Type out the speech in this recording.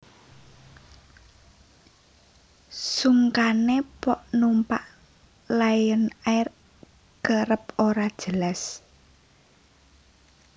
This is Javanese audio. Sungkane pok numpak Lion Air kerep ora jelas